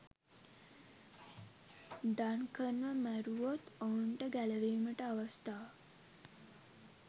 Duncan ව මැරුවොත් ඔවුන්ට ගැලවීමට අවස්ථාවක්